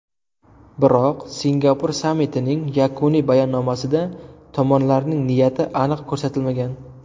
Biroq, Singapur sammitining yakuniy bayonnomasida tomonlarning niyati aniq ko‘rsatilmagan.